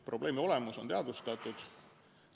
Probleemi olemus on teadvustatud.